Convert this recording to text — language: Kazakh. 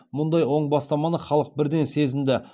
мұндай оң бастаманы халық бірден сезінді